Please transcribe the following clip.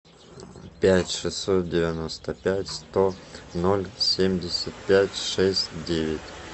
пять шестьсот девяносто пять сто ноль семьдесят пять шесть девять